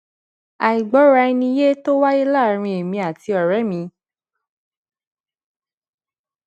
àìgbóraẹniyé tó wáyé láàárín èmi àti òré mi